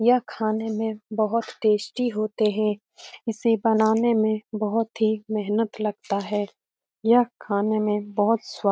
यह खाने में बोहोत टेस्टी होते है। इसे बनाने में बोहोत ही मेहनत लगता है। यह खाने में बोहोत स्वा --